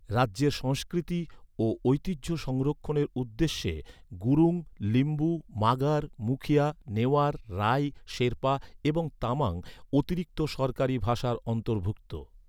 রাজ্যের সংস্কৃতি ও ঐতিহ্য সংরক্ষণের উদ্দেশ্যে গুরুং, লিম্বু, মাগার, মুখিয়া, নেওয়ার, রাই, শেরপা এবং তামাং অতিরিক্ত সরকারি ভাষার অন্তর্ভুক্ত।